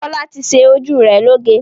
Fọlá ti ṣe ojú rẹ̀ lóge?